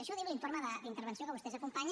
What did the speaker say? això ho diu l’informe d’intervenció que vostès acompanyen